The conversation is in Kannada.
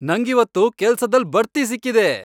ನಂಗಿವತ್ತು ಕೆಲ್ಸದಲ್ಲ್ ಬಡ್ತಿ ಸಿಕ್ಕಿದೆ.